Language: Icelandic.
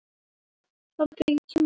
Viltu fara á toppinn?